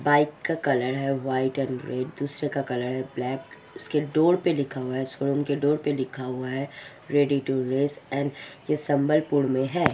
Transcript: Bike का colour है white and red दुसरे का कलर है ब्लैक उसके डोर पे लिखा हुआ है फ़ोन के डोर पे लिखा हुआ है रेडी टू यूज़ एंड ये सभलपुर में है ।